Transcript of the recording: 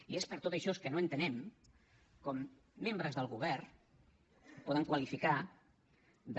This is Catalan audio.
i és per tot això que no entenem com membres del govern poden qualificar de